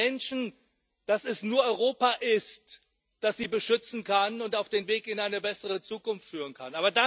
Und sagt den Menschen, dass es nur Europa ist, das sie beschützen kann und auf dem Weg in eine bessere Zukunft führen kann.